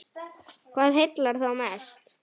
Hvað heillar þá mest?